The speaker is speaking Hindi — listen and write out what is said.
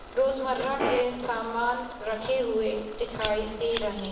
रोजमर्राह के सामान रखे हुए दिखाइ दे रहे।